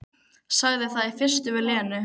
Sagði það í fyrstu við Lenu.